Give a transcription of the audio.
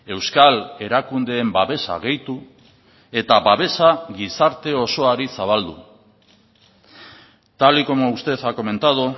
euskal erakundeen babesa gehitu eta babesa gizarte osoari zabaldu tal y como usted ha comentado